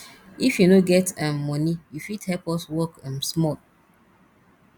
if you no get um moni you fit help us work um small